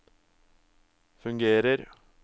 fungerer